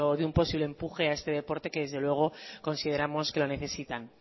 de un posible empuje a este deporte que desde luego consideramos que lo necesitan